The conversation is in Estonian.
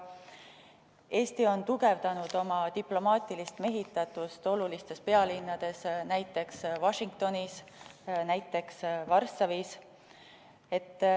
Eesti on tugevdanud oma diplomaatilist mehitatust olulistes pealinnades, näiteks Washingtonis ja Varssavis.